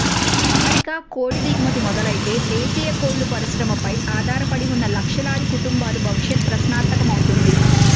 America కోడి దిగుమతి మొదలైతే దేశీయ కోళ్ల పరిశ్రమపై ఆధారపడి ఉన్న లక్షలాది కుటుంబాల భవిషత్ ప్రశ్నార్థకమవుతుంది